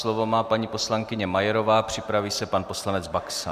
Slovo má paní poslankyně Majerová, připraví se pan poslanec Baxa.